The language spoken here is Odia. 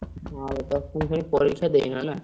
ଆଉ ଦଶମ ଶ୍ରେଣୀ ପରୀକ୍ଷା ଦେଇନ ନା?